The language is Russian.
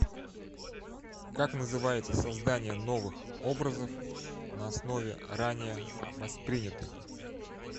как называется создание новых образов на основе ранее воспринятых